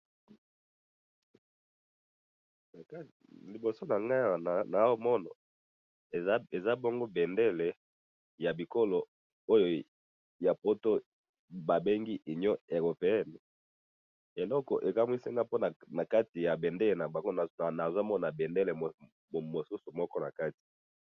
Liboso nangai awa nazomona eza bongo bendele ya bikolo oyo ya poto ba bengi union européenne, eloko ekamwisi nga po na kati ya bendele na bango nazomona bendele mosusu na kati